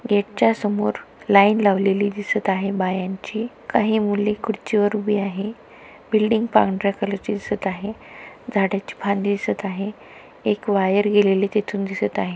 गेटच्या समोर लाइन लावलेली दिसत आहे बायांची काही मुली खुर्ची वर उभी आहे बिल्डिंग पांढऱ्या कलर ची दिसत आहे झाडांची फांदी दिसत आहे एक वायर गेलेली तिथून दिसत आहे.